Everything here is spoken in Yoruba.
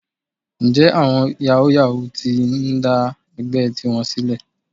Ǹjẹ́ àwọn yàwúú-yawuù ti ń dá ẹgbẹ́ tiwọn sílẹ̀?